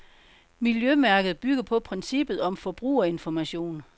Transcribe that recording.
Miljømærket bygger på princippet om forbrugerinformation.